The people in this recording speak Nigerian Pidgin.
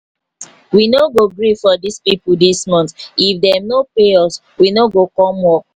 we no go gree for dis people dis month if dem no pay us we no go come work